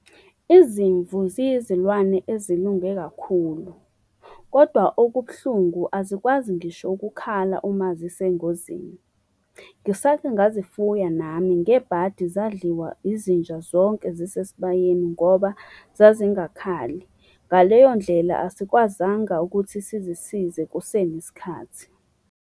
Izimvu ziyizilwane ezilunge kakhulu, kodwa okubuhlungu azikwazi ngisho ukukhala uma zisengozini. Ngisake ngazifuya nami, ngebhadi zadliwa izinja zonke zisesibayeni ngoba zazingakhali. Ngaleyo ndlela asikwazanga ukuthi sizisize kusenesikhathi.